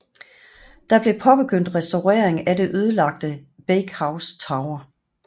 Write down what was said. Der blev påbegyndt restaurering af det ødelagte Bakehouse Tower